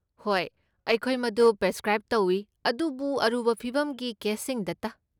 ꯍꯣꯏ, ꯑꯩꯈꯣꯏ ꯃꯗꯨ ꯄ꯭ꯔꯤꯁꯀ꯭ꯔꯥꯏꯕ ꯇꯧꯏ, ꯑꯗꯨꯕꯨ ꯑꯔꯨꯕ ꯐꯤꯚꯝꯒꯤ ꯀꯦꯁꯁꯤꯡꯗꯇ꯫